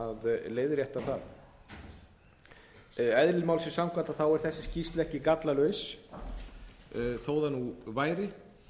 að leiðrétta það eðli málsins samkvæmt er þessi skýrsla ekki gallalaus þó það nú væri